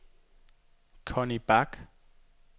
Conni Bak